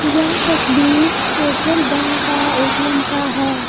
यह तस्वीर Federal Bank का एटीएम का है।